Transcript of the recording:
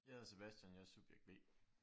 Jeg hedder Sebastian jeg er Subjekt B